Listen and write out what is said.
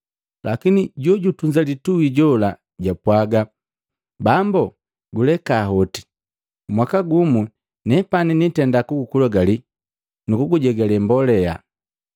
Lakini jojutunza litui jola japwaaga, ‘Bambo, guleka hoti mwaka gumu nepani niitenda kugukulagali nukugujegale mbolea.